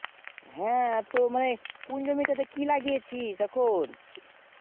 হ্যাঁ তো মানে কোন জমি তা তে কি লাগিয়েছিস এখন